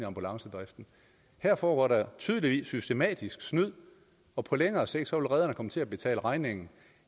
ambulancedriften her foregår der tydeligvis systematisk snyd og på længere sigt vil redderne komme til at betale regningen